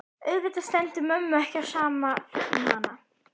Auðvitað stendur mömmu ekki á sama um hana.